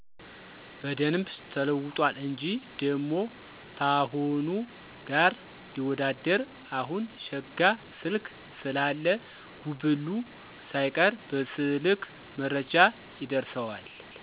በደንብ ተለውጧል እንጂ። ደሞ ታሁኑ ጋር ሊወዳደር አሁን ሸጋ ስልክ ስላለ ጉብሉ ሳይቀር በሰልክ መረጃ ይደርሠዋል።